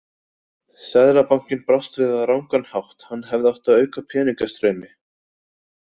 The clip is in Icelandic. Seðlabankinn brást við á rangan hátt, hann hefði átt að auka peningastreymi.